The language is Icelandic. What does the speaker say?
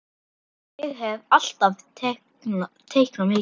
Ég hef alltaf teiknað mikið.